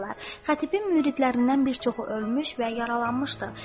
Xətibin müridlərindən bir çoxu ölmüş və yaralanmışdı.